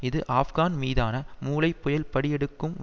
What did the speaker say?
இது ஆப்கான் மீதான மூளைப்புயல் படி எடுக்கப்படும்